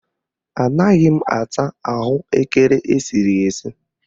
Anaghị m ata ahụekere esiri esi